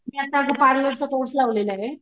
मी आता माझा पार्लर चा कोर्स लावलेलाय.